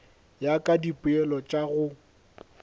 ya ka dipoelo tša go